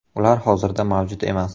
Ular hozirda mavjud emas.